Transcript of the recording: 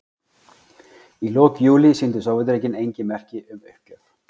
Í lok júlí sýndu Sovétríkin engin merki um uppgjöf.